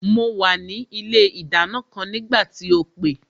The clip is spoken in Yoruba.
Mo wà ní ilé ìdáná kan nígbà tí o pè